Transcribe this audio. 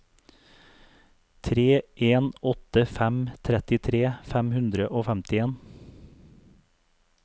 tre en åtte fem trettitre fem hundre og femtien